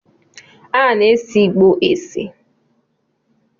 A na-ese igbo ese